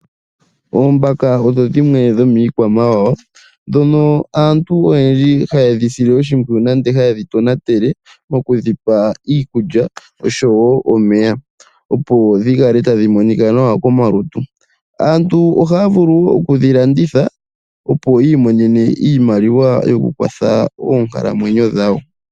Oombaka odho dhimwe dho miikwamawa ndhono aantu oyendji haye dhi sile oshimpwiyu nande haye dhi tonatele mokudhipa iikulya nosho wo omeya opo dhi kale tadhi monika nawa komalutu. Aantu ohaa vulu oku dhi landitha opo yi imonene oshimaliwa yoku kwatha oonkalamwenyo dhawo.